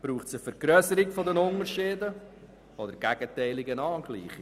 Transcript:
Braucht es eine Vergrösserung der Unterschiede oder eine Angleichung?